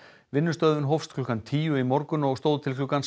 vinnustöðvun hófst klukkan tíu í morgun og stóð til klukkan